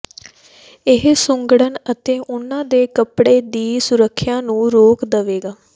ਇਹ ਸੁੱਘਡ਼ਣ ਅਤੇ ਉਨ੍ਹਾਂ ਦੇ ਕੱਪੜੇ ਦੀ ਸੁਰੱਖਿਆ ਨੂੰ ਰੋਕ ਦੇਵੇਗਾ